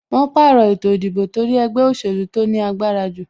Wọn pàrọ̀ ètò ìdìbò torí ẹgbẹ́ òsèlú tó ní agbára jù